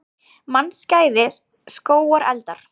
Mannskæðir skógareldar